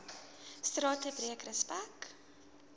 strate breek respek